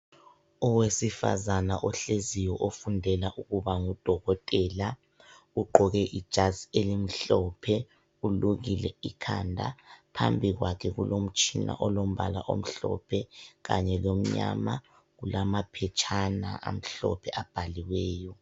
Owesifazana ohleziyo ofundela ukuba ngudokotela, ugqoke ijazi elimhlophe ulukile ikhanda, phambi kwakhe kulomtshina olombala omhlophe kanye lomnyama kulamaphetshana amhlophe abhaliweyo.